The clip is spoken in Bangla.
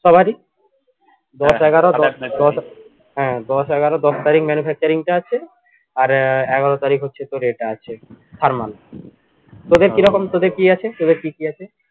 সবারই দশ এগারো হ্যা হ্যা দশ এগারো দশ তারিখ manufacturing টা আছে আর আহ এগারো তারিখ হচ্ছে তোর এটা আছে তোদের কিরকম তোদের কি আছে তোদের কি কি আছে